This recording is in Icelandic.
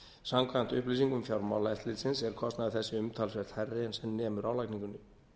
samkvæmt upplýsingum fjármálaeftirlitsins er kostnaður þessi umtalsvert hærri en sem nemur álagningunni